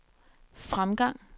fremgang